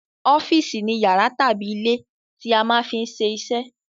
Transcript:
Ọ́fìsì ni yàrá tàbí ilé tí a ti máa ń ṣe iṣẹ́